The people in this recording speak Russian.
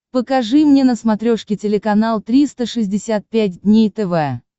покажи мне на смотрешке телеканал триста шестьдесят пять дней тв